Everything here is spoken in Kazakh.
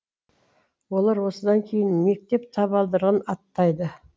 олар осыдан кейін мектеп табалдырығын аттайды